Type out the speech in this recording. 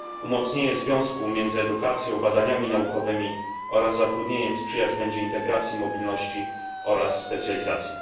Umocnienie związku między edukacją, badaniami naukowymi oraz zatrudnieniem sprzyjać będzie integracji, mobilności oraz specjalizacji.